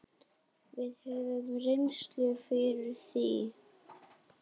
Við höfum reynslu fyrir því.